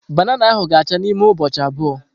Banana ahu ga acha n'ime ụbọchị abụọ.